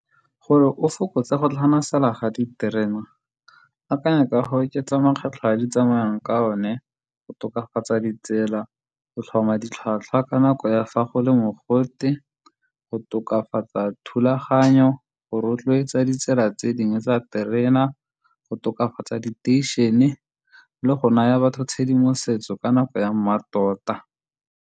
Gore o fokotse go tlhamasala ga diterena, akanya ka go oketsa mekgatlho ya di tsamayang ka one, go tokafatsa ditsela go tlhoma ditlhwatlhwa ka nako ya fa go le mogote, go tokafatsa thulaganyo, go rotloetsa ditsela tse dingwe tsa terena, go tokafatsa diteišene le go naya batho tshedimosetso ka nako ya mmatota.